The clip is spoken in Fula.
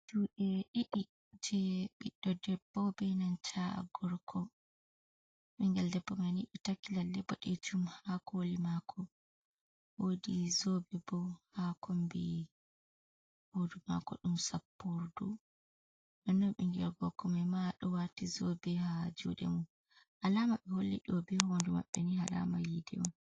juuɗe ɗiɗi je biɗɗo debbo be nan gorko. Bingel ɗebbo maini ɗo takki lalle buɗejum ha koli mako. Wodi zobe bo ha kombi hudu mako dum sappurdu. Non bingel gorkoma ma do wati zobe ha jude mum alama be holli dobe hoondu mabbe ni alama yide on.